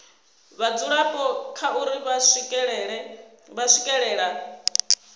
vhadzulapo kha uri vha swikelela